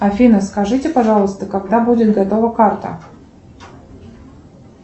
афина скажите пожалуйста когда будет готова карта